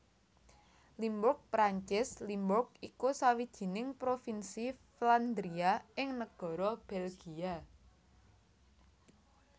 Limburg Perancis Limbourg iku sawijining provinsi Flandria ing negara Belgia